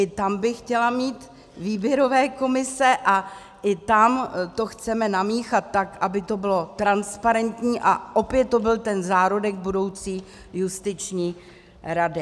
I tam bych chtěla mít výběrové komise a i tam to chceme namíchat tak, aby to bylo transparentní a opět to byl ten zárodek budoucí justiční rady.